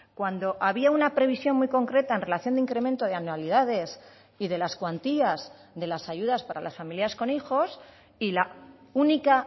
cuando había una previsión muy concreta en relación de incremento de anualidades y de las cuantías de las ayudas para las familias con hijos y la única